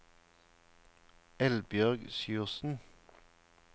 Eldbjørg Sjursen